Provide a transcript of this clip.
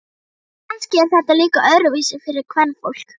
Kannski er þetta líka öðruvísi fyrir kvenfólk.